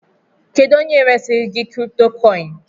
Kedu onye resirigi kripitokoini?